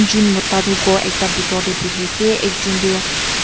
jun mota tho ghor ekta bidor de buihi ase ekjun tu.